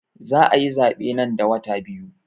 Za ayi zaɓe nan da wata biyu